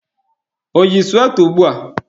O yi suweta ugbua?